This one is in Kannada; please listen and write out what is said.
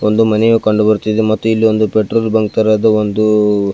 ಒಂದು ಮನೆಯು ಕಂಡುಬರುತ್ತಿದೆ ಮತ್ತು ಇಲ್ಲಿ ಒಂದು ಪೆಟ್ರೋಲ್ ಬಂಕ್ ತರಹದ ಒಂದು --